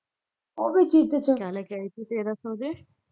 ਉਹ ਵੀ ਸੁੱਟ ਤੇ